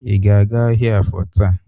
Ị ga-aga ahịa Afọ taa?